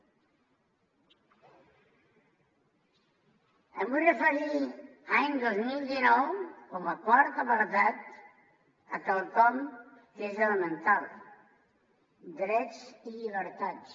em vull referir any dos mil dinou com a quart apartat a quelcom que és elemental drets i llibertats